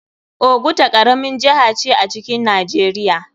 Oguta karamin jiha ce a cikin nijeria.